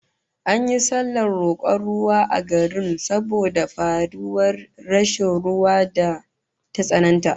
An yi sallar rokon ruwa a garin saboda fari da rashin ruwan da ta tsananta